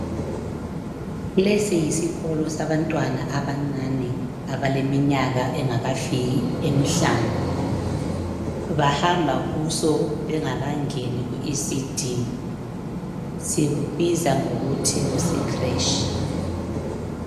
Lesi yisikolo sabantwana abancane abaleminyaka engakafiki emihlanu bahamba kuso bengakangeni kuECD sikubiza ngokuthi kuseCresh.